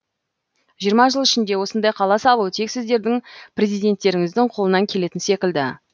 жиырма жыл ішінде осындай қала салу тек сіздердің президенттеріңіздің қолынан келетін секілді